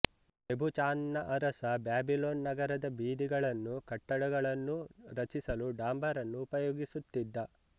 ನೆಬುಚಾಂದ್ನ ಅರಸ ಬ್ಯಾಬಿಲೋನ್ ನಗರದ ಬೀದಿಗಳನ್ನೂ ಕಟ್ಟಡಗಳನ್ನೂ ರಚಿಸಲು ಡಾಂಬರನ್ನು ಉಪಯೋಗಿಸುತ್ತಿದ್ದ